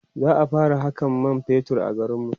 za'a fara Hakan man fetur a garinmu